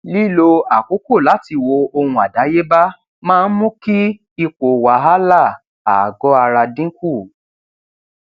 lílo àkókò láti wo ohun àdáyéba máa ń mú kí ipò wàhálà ààgọ ara dín kù